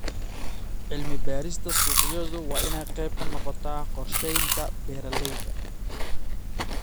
Cilmi-baarista suuqyadu waa inay qayb ka noqoto qorshaynta beeralayda.